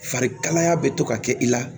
Farikalaya bɛ to ka kɛ i la